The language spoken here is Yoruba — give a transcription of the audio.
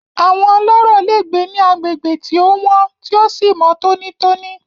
Àwọn ọlọ́rọ̀ le gbé ní agbègbè tí o wọ́n tí o sí mọ́ tònítóní.